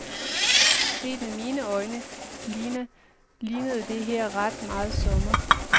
Set med mine øjne, lignede det her ret meget sommer.